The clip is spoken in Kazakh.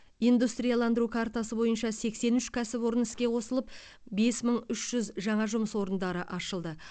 индустрияландыру картасы бойынша сексен үш кәсіпорын іске қосылып бес мың үш жүз жаңа жұмыс орындары ашылды